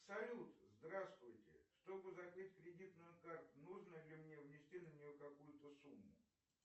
салют здравствуйте чтобы закрыть кредитную карту нужно ли мне внести на нее какую то сумму